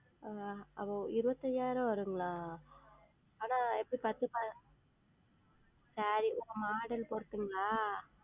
ஆஹ் ஓ இருபத்தையாயிரம் வருங்ளா? ஆனால் எப்படி பட்டு SareeModel பொருத்துங்களா?